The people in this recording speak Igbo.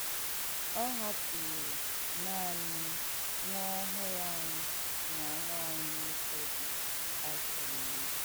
Ọ hàpùùrù̀ nàní m̀ nwà ọ́hụ̀rụ́ ànyị nà nwà ànyị nwọ́ké dì áfọ̀ írì.